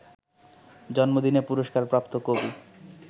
জন্মদিনে পুরস্কারপ্রাপ্ত কবি